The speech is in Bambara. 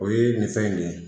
O ye nin fɛn in de ye